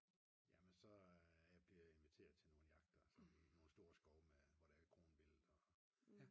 Jamen så bliver jeg inviteret til nogle jagter i nogle store skove hvor der er kronvildt og ja